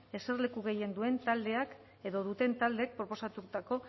eserleku gehien duen taldeak edo duten taldeek proposatutako